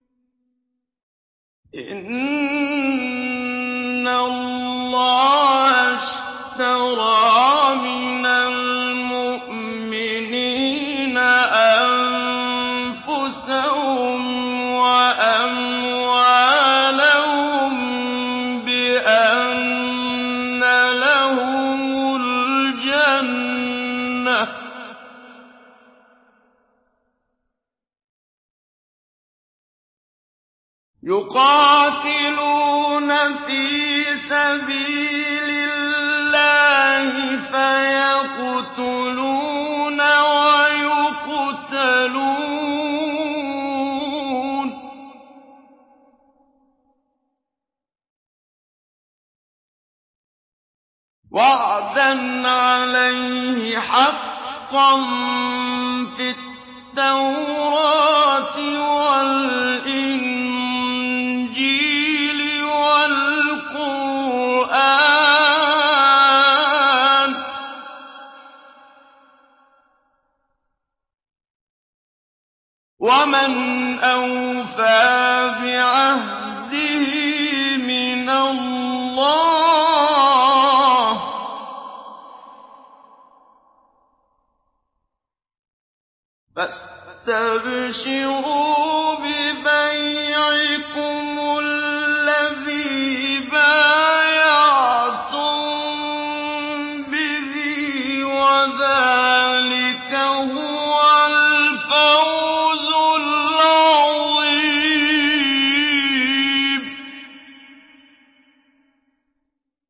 ۞ إِنَّ اللَّهَ اشْتَرَىٰ مِنَ الْمُؤْمِنِينَ أَنفُسَهُمْ وَأَمْوَالَهُم بِأَنَّ لَهُمُ الْجَنَّةَ ۚ يُقَاتِلُونَ فِي سَبِيلِ اللَّهِ فَيَقْتُلُونَ وَيُقْتَلُونَ ۖ وَعْدًا عَلَيْهِ حَقًّا فِي التَّوْرَاةِ وَالْإِنجِيلِ وَالْقُرْآنِ ۚ وَمَنْ أَوْفَىٰ بِعَهْدِهِ مِنَ اللَّهِ ۚ فَاسْتَبْشِرُوا بِبَيْعِكُمُ الَّذِي بَايَعْتُم بِهِ ۚ وَذَٰلِكَ هُوَ الْفَوْزُ الْعَظِيمُ